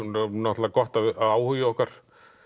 náttúrulega gott að áhugi okkar